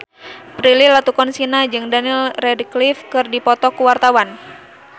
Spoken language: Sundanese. Prilly Latuconsina jeung Daniel Radcliffe keur dipoto ku wartawan